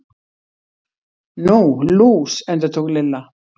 Nú, lús. endurtók Lilla.